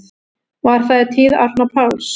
Var það í tíð Árna Páls